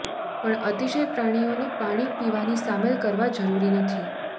પણ અતિશય પ્રાણીઓની પાણી પીવાની સામેલ કરવા જરૂરી નથી